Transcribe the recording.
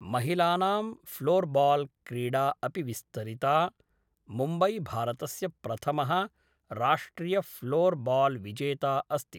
महिलानां ऴ्लोर्बाल्‌ क्रीडा अपि विस्तरिता, मुम्बै भारतस्य प्रथमः राष्ट्रियऴ्लोर्बाल्‌विजेता अस्ति।